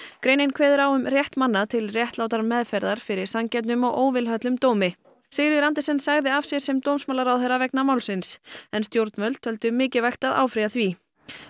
greinin kveður á um rétt manna til réttlátrar meðferðar fyrir sanngjörnum og óvilhöllum dómi Sigríður Andersen sagði af sér sem dómsmálaráðherra vegna málsins en stjórnvöld töldu mikilvægt að áfrýja því